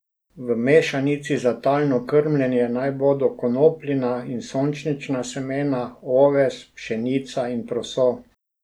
V mešanici za talno krmljenje naj bodo konopljina in sončnična semena, oves, pšenica in proso.